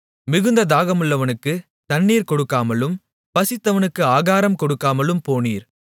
மிகுந்த தாகமுள்ளவனுக்கு தண்ணீர் கொடுக்காமலும் பசித்தவனுக்கு ஆகாரம் கொடுக்காமலும் போனீர்